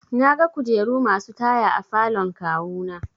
Naga kujeru masu taya a falon kawu na.